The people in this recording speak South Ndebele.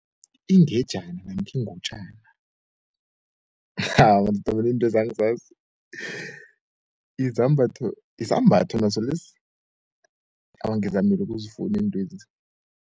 Ingejana namkha ingutjana madoda intwezi angzazi isambatho naso lesi? awa ngizamile ukuzfuni iintwezi.